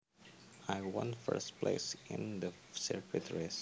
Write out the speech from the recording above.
I won first place in the circuit race